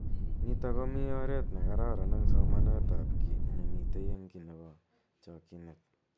Nitok komi oret nekararan eng somanet ab ki nemitei eng ki nebo chokyinet.